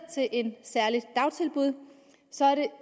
til et særligt dagtilbud så